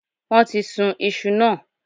Wón ti sun isu náà